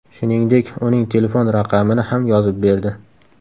Shuningdek, uning telefon raqamini ham yozib berdi.